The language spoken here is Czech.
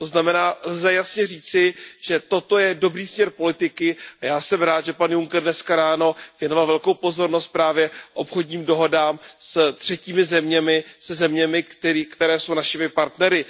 To znamená, že lze jasně říci, že toto je dobrý směr politiky a já jsem rád, že pan Juncker dnes ráno věnoval velkou pozornost právě obchodním dohodám s třetími zeměmi, se zeměmi, které jsou našimi partnery.